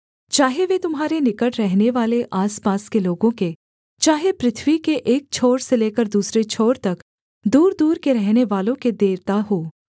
चाहे वे तुम्हारे निकट रहनेवाले आसपास के लोगों के चाहे पृथ्वी के एक छोर से लेकर दूसरे छोर तक दूरदूर के रहनेवालों के देवता हों